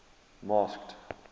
masked